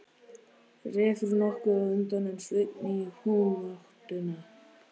Refur nokkuð á undan en Sveinn í humáttinni.